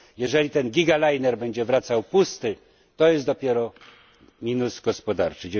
Jeżeli ten gigaliner będzie wracał pusty to jest dopiero minus gospodarczy.